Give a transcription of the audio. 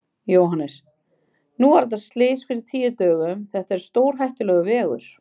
Jóhannes: Nú var þetta slys fyrir tíu dögum, þetta er stórhættulegur veggur?